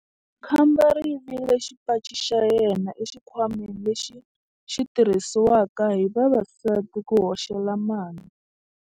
Khamba ri yivile xipaci xa yena exikhwameni lexi xi tirhisiwaka hi vavasati ku hoxela mali.